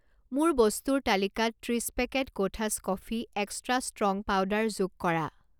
মোৰ বস্তুৰ তালিকাত ত্ৰিছ পেকেট কোঠাছ কফি এক্সট্ৰা ষ্ট্ৰং পাউদাৰ যোগ কৰা।